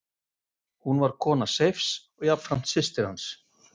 Hún var kona Seifs og jafnframt systir hans.